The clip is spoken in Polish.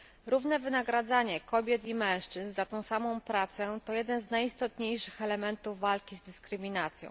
Równe wynagradzanie kobiet i mężczyzn za tę samą pracę to jeden z najistotniejszych elementów walki dyskryminacją.